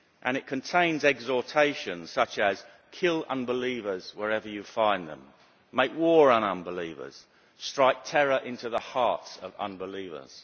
It contains exhortations, such as kill unbelievers wherever you find them', make war on unbelievers' and strike terror into the hearts of unbelievers'.